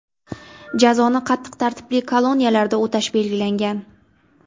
Jazoni qattiq tartibli koloniyalarda o‘tash belgilangan.